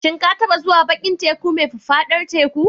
Shin ka taɓa zuwa bakin teku mai faffadar teku?